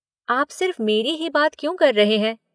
आप सिर्फ़ मेरी ही बात क्यों कर रहे हैं?